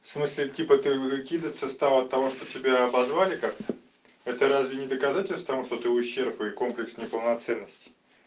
в смысле типа ты выкидываться стала от того что тебя обозвали как-то это разве не доказательство того что ты ущёрб и комплекс неполноценности